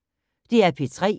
DR P3